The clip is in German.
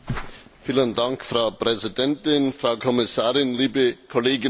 Frau Präsidentin, Frau Kommissarin, liebe Kolleginnen und Kollegen!